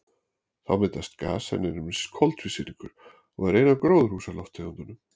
Þá myndast gas sem nefnist koltvísýringur og er ein af gróðurhúsalofttegundunum.